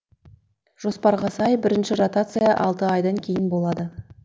жоспарға сай бірінші ротация алты айдан кейін болады